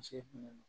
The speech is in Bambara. Muso kun